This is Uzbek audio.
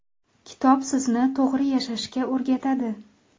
Kitob sizni to‘g‘ri yashashga o‘rgatadi.